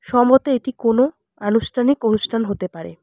সম্ভবত এটি কোনও আনুষ্ঠানিক অনুষ্ঠান হতে পারে।